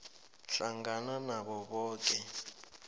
hlangana nabo boke